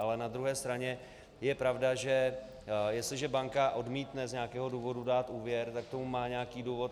Ale na druhé straně je pravda, že jestliže banka odmítne z nějakého důvodu dát úvěr, tak k tomu má nějaký důvod.